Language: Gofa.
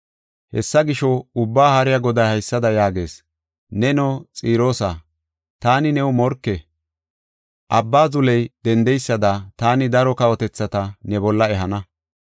Hessa gisho, Ubbaa Haariya Goday haysada yaagees; ‘Neno, Xiroosa, taani new morke. Abba zuley dendeysada taani daro kawotethata ne bolla ehana.